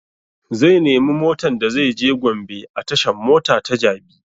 Zai nemi motan da zai je gombe a tashan mota ta jabi